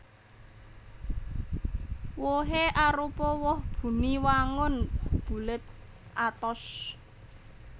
Wohé arupa woh buni wangun bulet atos